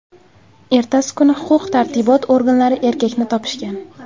Ertasi kuni huquq-tartibot organlari erkakni topishgan.